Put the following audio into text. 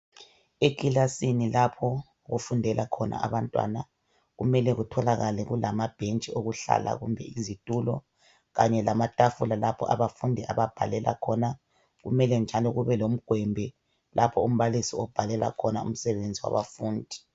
Ekilasini lapho okufundela khona abantwana kumele kutholakale kulamabhentshi okuhlala kumbe izitulo kanye lamatafula lapha abafundi ababhalela khona. Kumele njalo kube lomgwembe lapho umbalisi obhalela khona umsebenzi wabafundi.